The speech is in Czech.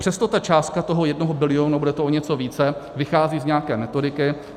Přesto ta částka toho jednoho bilionu, bude to o něco více, vychází z nějaké metodiky.